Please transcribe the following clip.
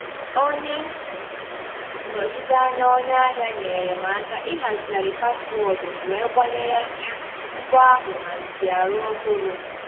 Onye nnochite anya onye ahịa nyeere m aka ịhazigharị paswọọdụ m wee gbanyegharịa ngwa ahụ na njiarụ ọhụrụ m.